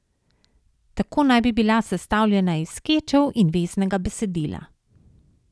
Tako naj bi bila sestavljena iz skečev in veznega besedila.